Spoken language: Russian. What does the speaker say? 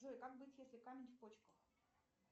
джой как быть если камень в почках